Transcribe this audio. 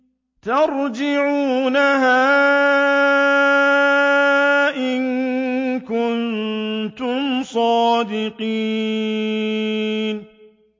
تَرْجِعُونَهَا إِن كُنتُمْ صَادِقِينَ